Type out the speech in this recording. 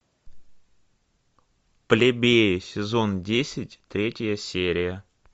плебеи сезон десять третья серия